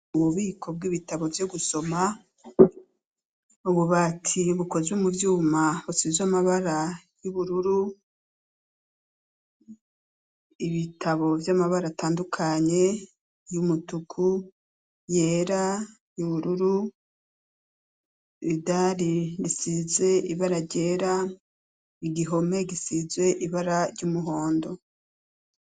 Ububiko bw'ibitabo, vyo gusoma, ububati bukozwe mu vyuma, busizwe amabara y'ubururu, ibitabo vy'amabara atandukanye, y'umutuku, yera, y'ubururu; idari risize ibara ryera, igihome gisizwe ibara ry'umuhondo.